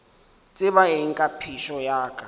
tseba eng ka phišo ya